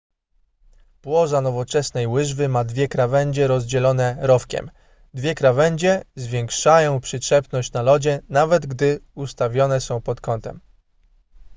płoza nowoczesnej łyżwy ma dwie krawędzie rozdzielone rowkiem dwie krawędzie zwiększają przyczepność na lodzie nawet gdy ustawione są pod kątem